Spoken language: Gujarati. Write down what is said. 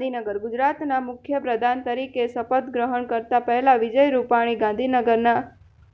ગાંધીનગરઃ ગુજરાતના મુખ્યપ્રધાન તરીકે શપથ ગ્રહણ કરતા પહેલા વિજય રૂપાણી ગાંધીનગરના